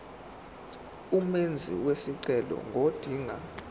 umenzi wesicelo ngodinga